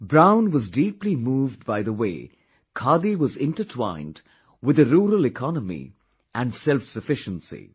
Brown was deeply moved by the way khadi was intertwined with the rural economy and self sufficiency